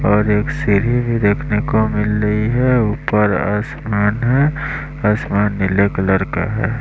और एक सीरही भी देखने को मिल रही है ऊपर आसमान है आसमान नीले कलर का है।